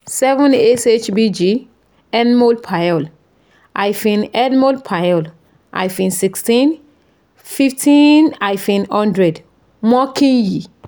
seven shbg nmol per l hyphen nmol per l hyphen sixteen fifteen hyphen hundred mo kin yi